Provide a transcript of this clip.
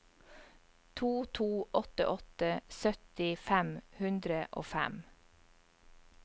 to to åtte åtte sytti fem hundre og fem